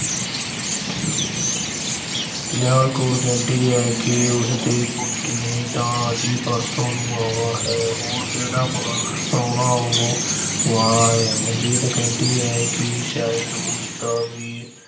ਨਿਹਾਲ ਕੌਰ ਕਹਿੰਦੀ ਹੈ ਕਿ ਉਸਦੇ ਪੁੱਤ ਨੇ ਤਾਂ ਅਜੇ ਪਰਸੋਂ ਨੂੰ ਆਉਣਾ ਹੈ। ਹੋਰ ਕਿਹੜਾ ਪ੍ਰਾਹੁਣਾ ਆਉਣ ਵਾਲਾ ਹੈ। ਮਨਜੀਤ ਕਹਿੰਦੀ ਹੈ ਕਿ ਸ਼ਾਇਦ ਉਸ ਦਾ ਵੀ